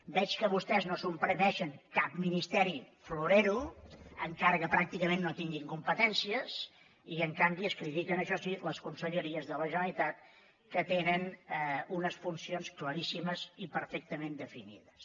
veig que vostès no suprimeixen cap ministeri florero encara que pràcticament no tinguin competències i en canvi es critiquen això sí les conselleries de la generalitat que tenen unes funcions claríssimes i perfectament definides